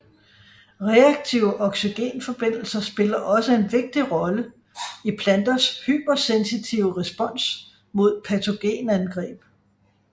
Reaktive oxygenforbindelser spiller også en vigtig rolle i planters hypersensitive respons mod patogenangreb